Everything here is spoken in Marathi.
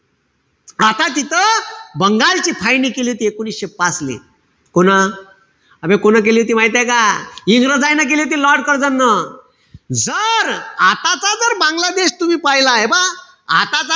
आता तिथं बंगालची फायनी केली होती एकोणीशे पाच ले. कोणं? आबे कोणं केली होती माहितीये का? इंग्रजायन केली होती lord कर्झेन न. जर आताचा जर बांगलादेश तुम्ही पहिला. हे पा आताचा,